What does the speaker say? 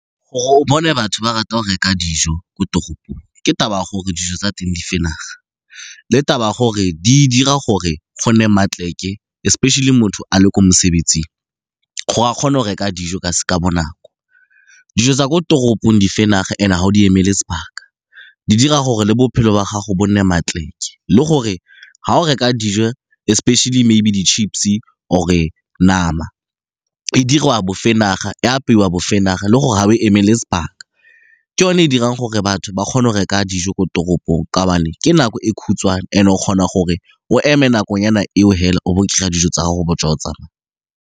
Gore o bone batho ba rata go reka dijo ko toropong, ke taba ya gore dijo tsa teng di le taba ya gore di dira gore go nne especially motho a le ko mosebetsing gore a kgone go reka dijo ka bonako. Dijo tsa ko toropong and-e ga o di emele sebaka. Di dira gore le bophelo ba gago bo nne le gore ga o reka dijo especially maybe di-chips or-e nama e diriwa , e apeiwa le gore ga o emelele sebaka. Ke yone e dirang gore batho ba kgone go reka dijo ko toropong, ka gobane le ke nako e khutshwane and o kgona gore o eme nakonyana eo fela o bo o kry-a dijo tsa gao o be o tswa o tsamaya.